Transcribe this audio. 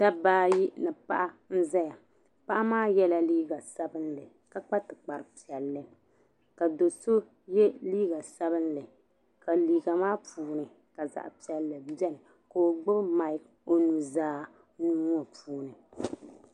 Dabi ayi ni paɣa n zaya, paɣa maa. yela liiga sabinli, ka kpa tikpri piɛli, ka doso ye liiga sabinli ka liiga puuni ka zaɣi piɛli beni, ka ɔgbubi mic ɔnuzaa nuuŋɔ puuni,